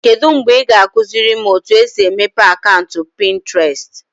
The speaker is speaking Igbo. Kedu mgbe ị ga-akụziri m otu esi emepe akaụntụ Pinterest?